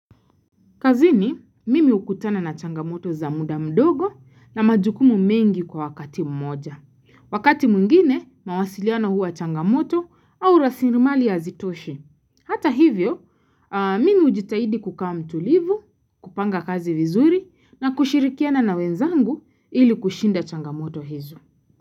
Kazini, mimi hukutana na changamoto za muda mdogo na majukumu mengi kwa wakati mmoja. Wakati mwengine, mawasiliano huwa changamoto au rasilimali hazitoshi. Hata hivyo, mimi hujitahidi kukaa mtulivu, kupanga kazi vizuri na kushirikiana na wenzangu ili kushinda changamoto hizo.